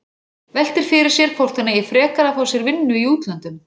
Veltir fyrir sér hvort hún eigi frekar að fá sér vinnu í útlöndum.